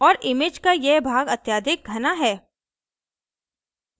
और image का यह भाग अत्यधिक घना है